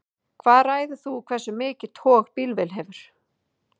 hvað ræður því hversu mikið tog bílvél hefur